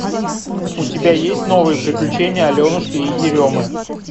у тебя есть новые приключения аленушки и еремы